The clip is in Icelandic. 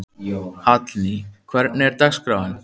Hallný, hvernig er dagskráin?